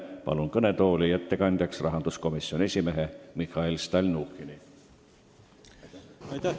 Palun ettekandeks kõnetooli rahanduskomisjoni esimehe Mihhail Stalnuhhini!